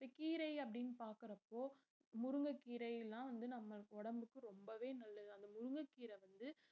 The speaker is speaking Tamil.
கீரை அப்படினு பார்க்கறப்போ முருங்கைக்கீரை எல்லாம் வந்து நம்ம உடம்புக்கு ரொம்பவே நல்லது அந்த முருங்கக்கீரை வந்து